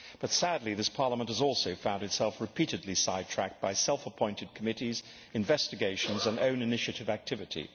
But sadly this Parliament has also found itself repeatedly sidetracked by self appointed committees, investigations and own initiative activity.